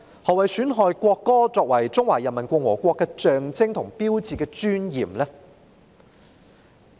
何謂"損害國歌作為中華人民共和國的象徵和標誌的尊嚴"呢？